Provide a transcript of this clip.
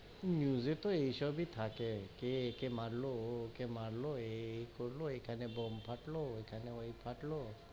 News এ তো এইসবই থাকে, কে একে মারলো, ও ওকে মারলো, এই এই করলো, এখানে বোম ফাটলো, ওই খানে ওই ফাটলো,